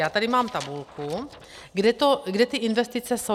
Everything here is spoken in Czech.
Já tady mám tabulku , kde ty investice jsou.